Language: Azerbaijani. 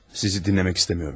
Sizi dinləmək istəmirəm.